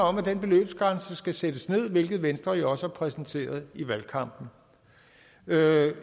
om at den beløbsgrænse skal sættes ned hvilket venstre jo også har præsenteret i valgkampen